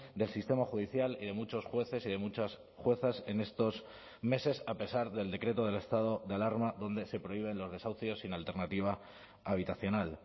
del sistema judicial y de muchos jueces y de muchas juezas en estos meses a pesar del decreto del estado de alarma donde se prohíben los desahucios sin alternativa habitacional